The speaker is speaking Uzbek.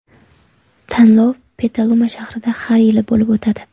Tanlov Petaluma shahrida har yili bo‘lib o‘tadi.